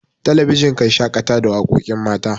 talabijin kan shakata da waƙoƙin mata